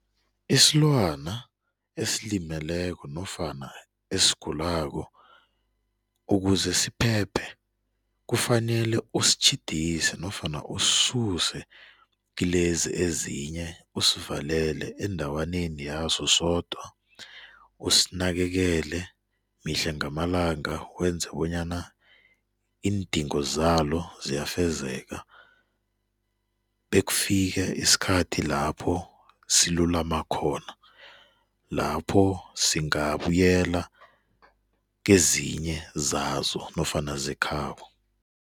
Isilwana esilimeleko nofana esigulako ukuze siphephe, kufanele usitjhidise nofana usisuse kilezi ezinye usivalele endawaneni yaso sodwa, usinakekele mihla ngamalanga wenze bonyana iindingo zalo ziyafezeka bekufike isikhathi lapho silulama khona lapho singabuyela kezinyezazo nofana zekhabo.